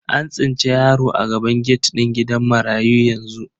An tsinci yaro a gaban gate din gidan marayu yanzu.